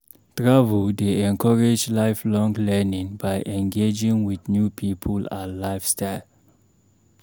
Travel dey encourage lifelong learning by engaging with new people and lifestyle.